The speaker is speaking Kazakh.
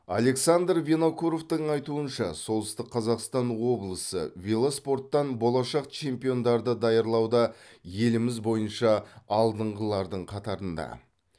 александр винокуровтың айтуынша солтүстік қазақстан облысы велоспорттан болашақ чемпиондарды даярлауда еліміз бойынша алдыңғылардың қатарында